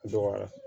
Dɔgɔya